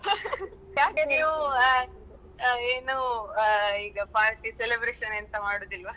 ಯಾಕೆ ನೀವು ಏನು ಇದು party celebration ಎಂತ ಮಾಡುದಿಲ್ವ?